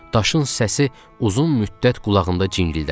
Daşın səsi uzun müddət qulağımda cingildədi.